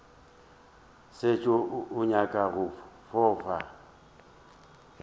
šetše o nyaka go fofa